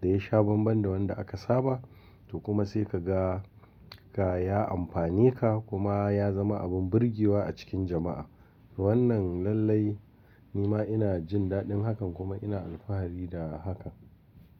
da ya sha banban da wanda aka saba. To kuma sai ka ga ka ya amfane ka kuma ya zama abin burgewa a cikin jama'a. Wannan lallai ni ma ina jin daɗin hakan kuma ina alfahari da hakan.